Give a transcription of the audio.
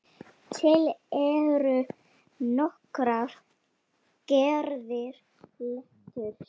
Til eru nokkrar gerðir leturs